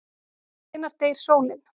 Hvenær deyr sólin?